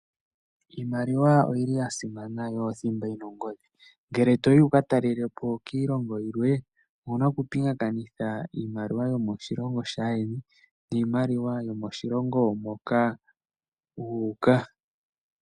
Iimaliwa oyili ya simana yo oyili oyo thimba yina ongodhi, ngele toyi wuka talelepo kiilongo yimwe, owuna oku pingakanitha niimaliwa yomoshilonho shaa yeni niimaliwa yomoshilongo moka wuuka.